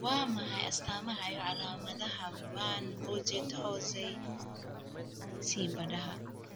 Waa maxay astamaha iyo calaamadaha Van Bogaert Hozay ciibadaha?